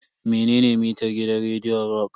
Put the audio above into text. Menene mitar gidan rediyon rock?